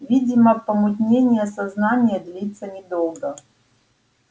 видимо помутнение сознания длится недолго